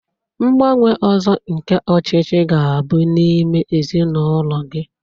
Ngbanwe ọzọ nke ọchịchị ga-abụ n'ime ezinụlọ gị